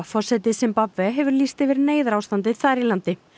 forseti Simbabve hefur lýst yfir neyðarástandi þar í landi